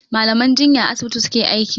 Mallaman jinya a asibiti su ke aiki.